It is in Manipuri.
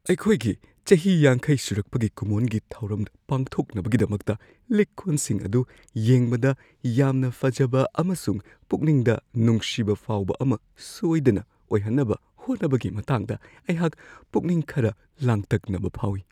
ꯑꯩꯈꯣꯏꯒꯤ ꯆꯍꯤ ꯵꯰ ꯁꯨꯔꯛꯄꯒꯤ ꯀꯨꯝꯑꯣꯟꯒꯤ ꯊꯧꯔꯝ ꯄꯥꯡꯊꯣꯛꯅꯕꯒꯤꯗꯃꯛꯇ ꯂꯤꯛ-ꯀꯣꯟꯁꯤꯡ ꯑꯗꯨ ꯌꯦꯡꯕꯗ ꯌꯥꯝꯅ ꯐꯖꯕ ꯑꯃꯁꯨꯡ ꯄꯨꯛꯅꯤꯡꯗ ꯅꯨꯡꯁꯤꯕ ꯐꯥꯎꯕ ꯑꯃ ꯁꯣꯏꯗꯅ ꯑꯣꯏꯍꯟꯅꯕ ꯍꯣꯠꯅꯕꯒꯤ ꯃꯇꯥꯡꯗ ꯑꯩꯍꯥꯛ ꯄꯨꯛꯅꯤꯡ ꯈꯔ ꯂꯥꯡꯇꯛꯅꯕ ꯐꯥꯎꯋꯤ ꯫